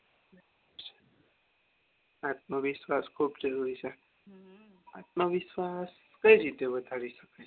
આત્મવિશ્વાસ ખુબ જરૂરી છે આત્મવિશ્વાસ કઈ રીતે વધારી શકાય